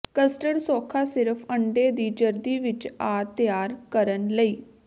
custard ਸੌਖਾ ਸਿਰਫ ਅੰਡੇ ਦੀ ਜ਼ਰਦੀ ਵਿੱਚ ਆ ਤਿਆਰ ਕਰਨ ਲਈ